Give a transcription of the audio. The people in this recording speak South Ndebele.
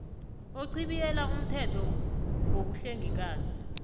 ochibiyela umthetho ngobuhlengikazi